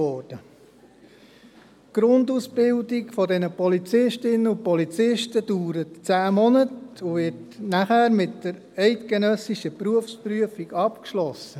Die Grundausbildung der Polizistinnen und Polizisten dauert zehn Monate und wird danach mit der eidgenössischen Berufsprüfung abgeschlossen.